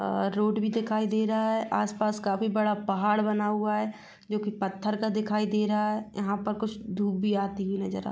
अअ road भी दिखाई दे रहा है आस पास काफी बड़ा पहाड़ बना हुआ है जो की पत्थर का दिखाई दे रहा है यहां पर कुछ धूप भी आती हुई नजर आ--